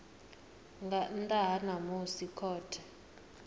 nga nnḓa ha musi khothe